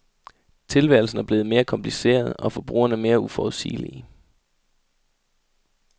Tilværelsen er blevet mere kompliceret, og forbrugerne mere uforudsigelige.